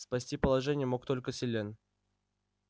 спасти положение мог только селен